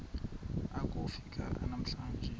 akofi ka emlanjeni